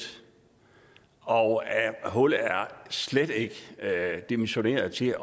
og at hullet slet ikke er dimensioneret til